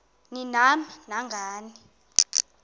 ni nam nangani